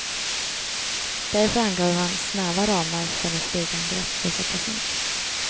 Därför angav han snäva ramar för när flygangrepp får sättas in.